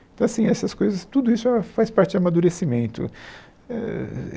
Então, assim, essas coisas, tudo isso faz parte do amadurecimento eh.